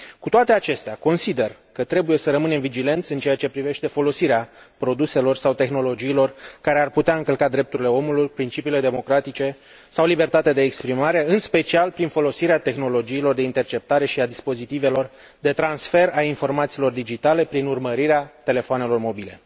Cu toate acestea, consider că trebuie să rămânem vigilenți în ceea ce privește folosirea produselor sau tehnologiilor care ar putea încălca drepturile omului, principiile democratice sau libertatea de exprimare, în special prin folosirea tehnologiilor de interceptare și a dispozitivelor de transfer al informațiilor digitale prin urmărirea telefoanelor mobile.